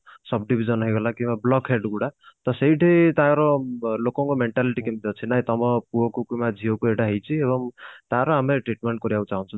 subdivision ହେଇଗଲା କି block head ଗୁଡା ତ ସେଇଠି ତାର ବ ଲୋକଙ୍କ mentality କେମତି ଅଛି ନାଇଁ ତମ ପୁଅକୁ କି ଝିଅ କୁ ଏଇଟା ହେଇଛି ତାର ଆମେ treatment କରିବାକୁ ଚାହୁଞ୍ଚୁ